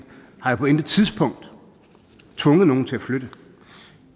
har jo på intet tidspunkt tvunget nogen til at flytte